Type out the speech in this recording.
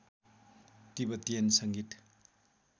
Tibetan सँगीत